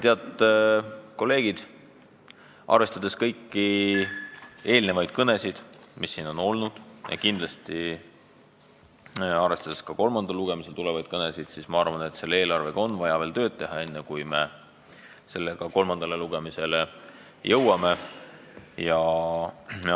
Head kolleegid, arvestades kõiki kõnesid, mis siin on peetud, ja kindlasti arvestades ka kolmandal lugemisel tulevaid kõnesid, ma arvan, et selle eelarvega on vaja veel tööd teha, enne kui me kolmandale lugemisele läheme.